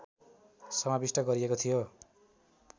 समाविष्ट गरिएको थियो